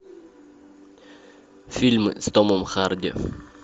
фильмы с томом харди